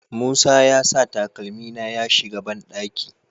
Musa ya sa takalmi na ya shiga banɗaki